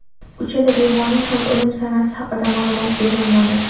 Uchala bemorning ham o‘lim sanasi haqida ma’lumot berilmadi.